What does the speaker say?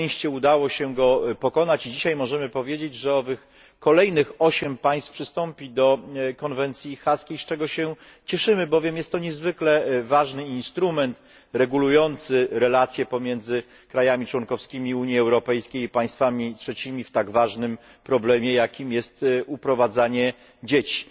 Na szczęście udało się go przezwyciężyć i dzisiaj możemy powiedzieć, że owych kolejnych osiem państw przystąpi do Konwencji Haskiej, z czego się cieszymy, bowiem jest to niezwykle ważny instrument regulujący relacje pomiędzy krajami członkowskimi Unii Europejskiej i państwami trzecimi w związku z tak ważnym problemem, jakim jest uprowadzanie dzieci.